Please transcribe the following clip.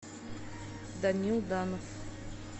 данил данов